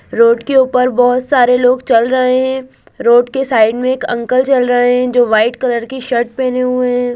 Road के ऊपर बहुत सारे लोग चल रहें हैं रोड के साइड में एक अंकल चल रहें हैं जो वाइट कलर की शर्ट पहने हुऐ हैं।